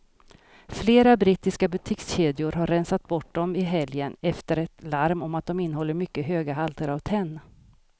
Flera brittiska butikskedjor har rensat bort dem i helgen efter ett larm om att de innehåller mycket höga halter av tenn.